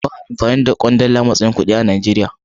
Ba'a amfani da kwandala a matsayin kuɗi a Najeriya.